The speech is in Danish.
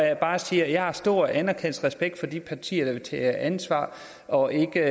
jeg bare sige at jeg har stor anerkendelse og respekt for de partier der vil tage ansvar og ikke